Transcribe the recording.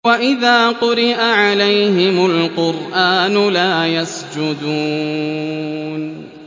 وَإِذَا قُرِئَ عَلَيْهِمُ الْقُرْآنُ لَا يَسْجُدُونَ ۩